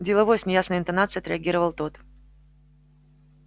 деловой с неясной интонацией отреагировал тот